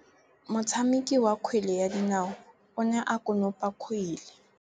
Motshameki wa kgwele ya dinaô o ne a konopa kgwele.